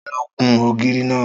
Ta ló kun ògiri náà?